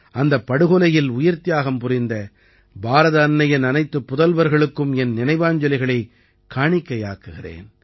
அந்தப் படுகொலையில் உயிர்த்தியாகம் புரிந்த பாரத அன்னையின் அனைத்துப் புதல்வர்களுக்கும் என் நினைவாஞ்சலிகளைக் காணிக்கையாக்குகிறேன்